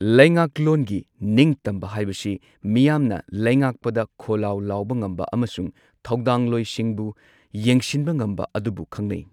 ꯂꯩꯉꯥꯛꯂꯣꯟꯒꯤ ꯅꯤꯡꯇꯝꯕ ꯍꯥꯏꯕꯁꯤ ꯃꯤꯌꯥꯝꯅ ꯂꯩꯉꯥꯛꯄꯗ ꯈꯣꯂꯥꯎ ꯂꯥꯎꯕ ꯉꯝꯕ ꯑꯃꯁꯨꯡ ꯊꯧꯗꯥꯡꯂꯣꯏꯁꯤꯡꯕꯨ ꯌꯦꯡꯁꯤꯟꯕ ꯉꯝꯕ ꯑꯗꯨꯕꯨ ꯈꯪꯅꯩ꯫